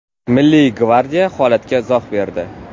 Milliy gvardiya holatga izoh berdi.